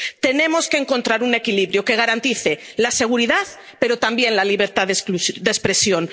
Tenemos que encontrar un equilibrio que garantice la seguridad pero también la libertad de expresión.